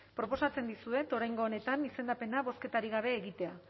proposatzen dizuet oraingo honetan izendapena bozketarik gabe egitea